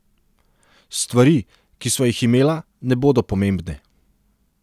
Stvari, ki sva jih imela, ne bodo pomembne.